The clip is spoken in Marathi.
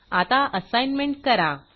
आता असाईनमेंट करा